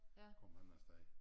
Kom han afsted